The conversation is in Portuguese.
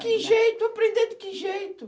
Que jeito, eu aprender de que jeito?